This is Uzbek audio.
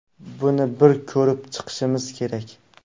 Buni bir ko‘rib chiqishimiz kerak.